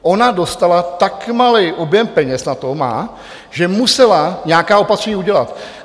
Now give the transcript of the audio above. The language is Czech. Ona dostala, tak malý objem peněz na to má, že musela nějaká opatření udělat.